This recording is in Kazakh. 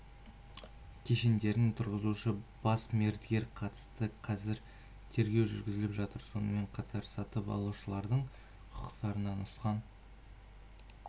кешендерін тұрғызушы бас мердігерге қатысты қазір тергеу жүргізіліп жатыр сонымен қатар сатып алушылардың құқықтарына нұқсан